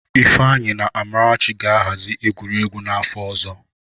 Ifeanyi na Amarachi ga-ahazi egwuregwu n'afọ ọzọ.